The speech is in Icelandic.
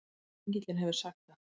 Engillinn hefur sagt